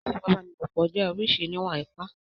Ìfipábánilòpọ̀ jẹ́ oríṣi Ììwà-ipá.